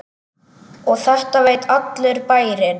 Og þetta veit allur bærinn?